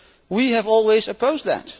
We have always opposed that.